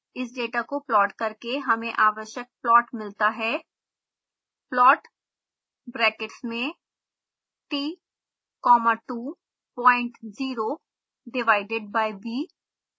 इस डेटा को प्लॉट करके हमें आवश्यक प्लॉट मिलता है